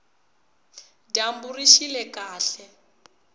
dyambu rixile kahle